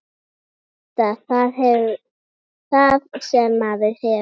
Meta það sem maður hefur.